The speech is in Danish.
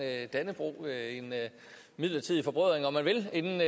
dannebrog en midlertidig forbrødring om man vil inden